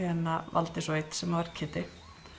valdi svo einn sem var Kiddi